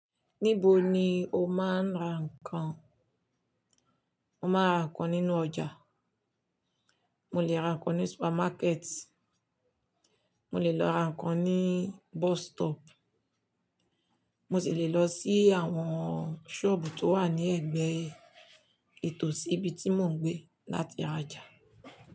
Níbo ni o máa ń ra ǹkan? Mo máa ń ra ǹkan nínú ọjà, mo lè ra ǹkan ní supermarket, mo lè lọ ra ǹkan ní bus stop, mo sì lè lọ sí àwọn sọ́ọ̀bù tó wà ní ẹ̀gbẹ́ tò sí ibi tí mò ń gbé láti rajà.